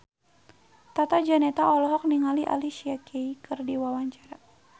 Tata Janeta olohok ningali Alicia Keys keur diwawancara